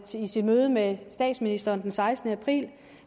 sit møde med statsministeren den sekstende april